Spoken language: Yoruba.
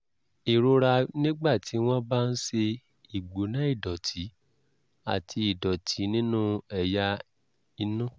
ìrora nígbà tí wọ́n bá ń ṣe ìgbóná ìdọ̀tí àti ìdọ̀tí nínú ẹ̀yà inú